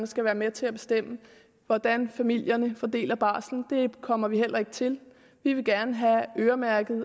skal være med til at bestemme hvordan familierne fordeler barselorloven det kommer vi heller ikke til vi vil gerne have øremærket